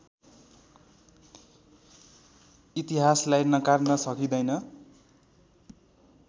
इतिहासलाई नकार्न सकिँदैन